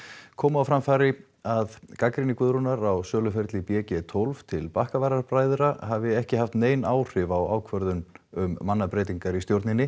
koma á framfæri að gagnrýni Guðrúnar á söluferli b g tólf til hafi ekki haft nein áhrif á ákvörðun um mannabreytingar í stjórninni